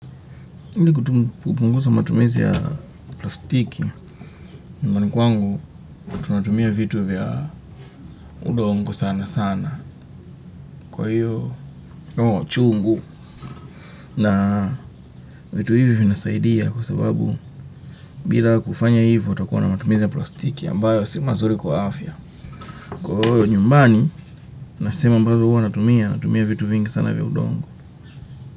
Hili kupungusa matumizi ya plastiki nyumbani kwangu tunatumia vitu vya udongo sana sana kwa hiyo chungu na vitu hivyo vinasaidia kwa sababu bila kufanya hivyo utakuwa na matumizi ya plastiki ambayo si mazuri kwa afya. Kwa hiyo nyumbani na sehemu ambazo huwa natumia vitu vingi sana vya udongo.